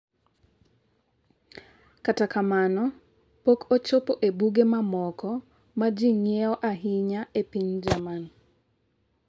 Kata kamano, pok ochopo e buge mamoko ma ji ng’iewo ahinya e piny Jerman.